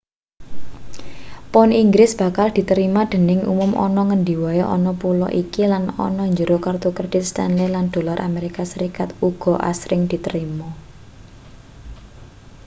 pound inggris bakal diterima dening umum ana ngendi wae ana pulo iki lan ana njero kertu kredit stanley lan dolar amerika serikat uga asring diterima